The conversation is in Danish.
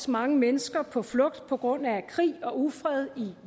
mange mennesker på flugt på grund af krig og ufred